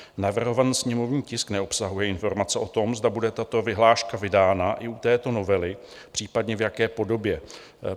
Navrhovaný sněmovní tisk neobsahuje informace o tom, zda bude tato vyhláška vydána i u této novely, případně v jaké podobě.